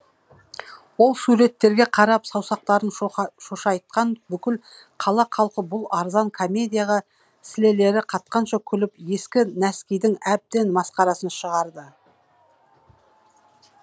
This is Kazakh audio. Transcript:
ол суреттерге қарап саусақтарын шошайтқан бүкіл қала халқы бұл арзан комедияға сілелері қатқанша күліп ескі нәскидің әбден масқарасын шығарды